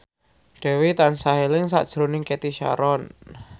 Dwi tansah eling sakjroning Cathy Sharon